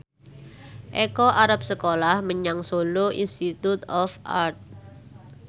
Eko arep sekolah menyang Solo Institute of Art